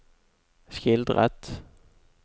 skildret